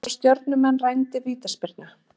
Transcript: Þarna voru Stjörnumenn rændir vítaspyrnu.